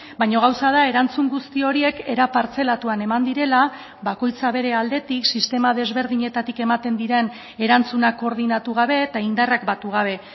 baina gauza da erantzun guzti horiek era partzelatuan eman direla bakoitza bere aldetik sistema desberdinetatik ematen diren erantzunak koordinatu gabe eta indarrak batu gabe